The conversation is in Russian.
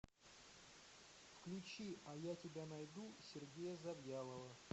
включи а я тебя найду сергея завьялова